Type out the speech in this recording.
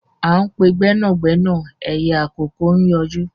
À ń pe gbẹ́nàgbẹ́nà ẹyẹ àkókó ń yọjú